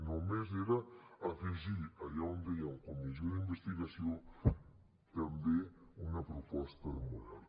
només era afegir allà on deia comissió d’investigació també una proposta de model